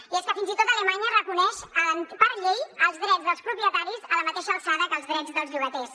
i és que fins i tot alemanya reconeix per llei els drets dels propietaris a la mateixa alçada que els drets dels llogaters